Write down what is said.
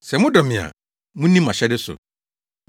“Sɛ modɔ me a munni mʼahyɛde so.